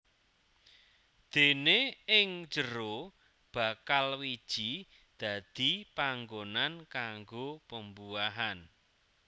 Déné ing jero bakal wiji dadi panggonan kanggo pembuahan